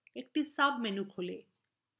একটি সাবmenu খোলে